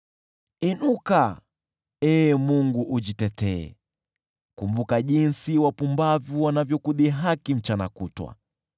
Inuka, Ee Mungu, ujitetee; kumbuka jinsi wapumbavu wanavyokudhihaki mchana kutwa.